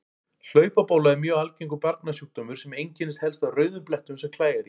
Hlaupabóla er mjög algengur barnasjúkdómur sem einkennist helst af rauðum blettum sem klæjar í.